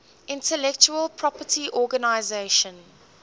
intellectual property organization